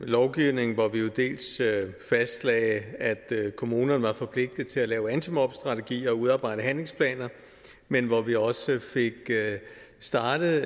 lovgivningen hvor vi jo dels fastlagde at kommunerne var forpligtet til at lave antimobningsstrategier og udarbejde handlingsplaner men hvor vi også fik startet